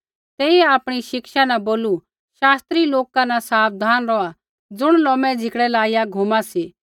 तेइयै आपणी शिक्षा न बोलू शास्त्री लौका न साबधान रौहा ज़ुण लोमे झिकड़ै लाईया घुमा सी